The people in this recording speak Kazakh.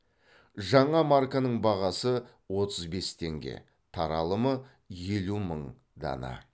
жаңа марканың бағасы отыз бес теңге таралымы елу мың дана